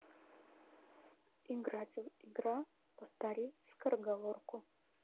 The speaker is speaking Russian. играть в игра повтори скороговорку